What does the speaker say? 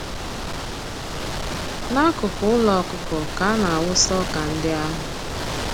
Nakụkụ ụlọ ọkụkọ ka ana-awụsa ọkà ndị ahụ.